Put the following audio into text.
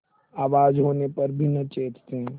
आवाज होने पर भी न चेतते